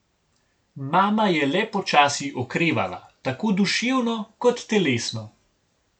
Mama je le počasi okrevala, tako duševno kot telesno.